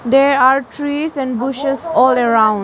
There are trees and bushes all around.